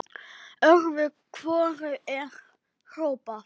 Öðru hvoru er hrópað.